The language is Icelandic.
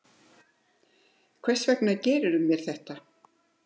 Hvers vegna gerðirðu mér þetta?